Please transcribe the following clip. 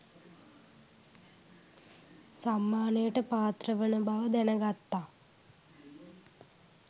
සම්මානයට පාත්‍රවන බව දැන ගත්තා